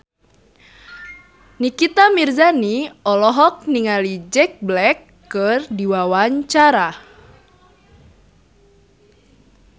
Nikita Mirzani olohok ningali Jack Black keur diwawancara